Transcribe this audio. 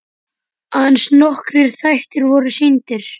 Aðeins nokkrir þættir voru sýndir.